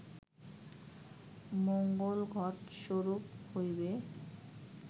মঙ্গল ঘট স্বরূপ হইবে